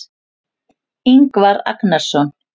Ingvar Agnarsson.